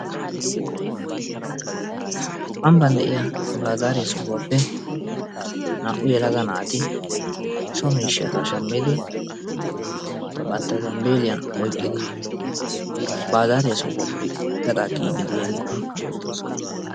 Ambban de'iya baazariya sohuwaappe naa'u yelaga naati so miishshata shammidi bantta zambbeliyan oyqqidi baazariya sohuwaappe gaxxaa kiyiidi diyageeti beettoosona.